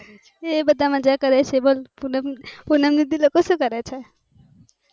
એ બધા મજા કરે છે બસ પૂનમ પૂનમ દીદી લોકો સુ કરે છે?